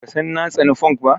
Baka san na tsani funk ba?